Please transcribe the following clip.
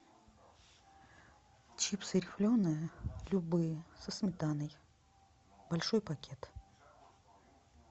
чипсы рифленые любые со сметаной большой пакет